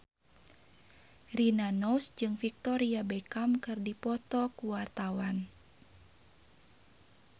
Rina Nose jeung Victoria Beckham keur dipoto ku wartawan